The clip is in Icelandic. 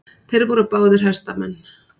Þeir voru báðir hestamenn.